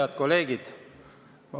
Head kolleegid!